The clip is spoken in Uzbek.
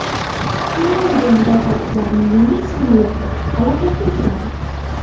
Finlyandiya mudofaa kuchlarining yengil samolyoti halokatga uchradi.